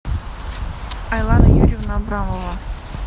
айлана юрьевна абрамова